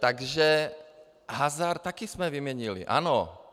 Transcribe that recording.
Takže hazard taky jsme vyměnili, ano.